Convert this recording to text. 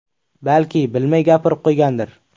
Balki, bilmay gapirib qo‘ygandir.